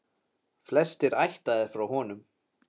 Flestir ættaðir frá honum.